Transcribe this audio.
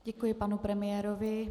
Děkuji panu premiérovi.